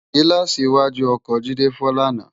Gilàsí iwàjú òkò Jide fò làná